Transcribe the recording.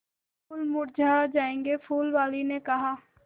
फूल मुरझा जायेंगे फूल वाली ने कहा